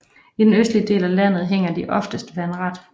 I den østlige del af landet hænger de oftest vandret